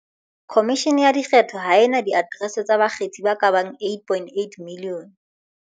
"Khomishene ya Dikgetho ha e na diaterese tsa bakgethi ba ka bang 2.8 milione."